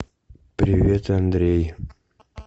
привет андрей